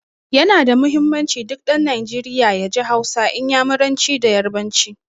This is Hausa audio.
Ya na da muhimmanci, duk ɗan Najeriya ya ji Hausa, Inyamuranci da Yarbanci.